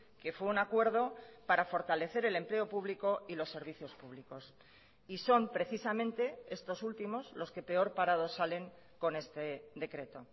que fue un acuerdo para fortalecer el empleo público y los servicios públicos y son precisamente estos últimos los que peor parados salen con este decreto